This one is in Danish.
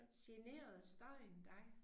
Generede støjen dig?